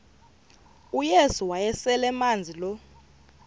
uyesu wayeselemazi lo